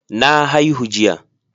Na haihu jiya.